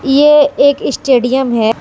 ये एक स्टेडियम है।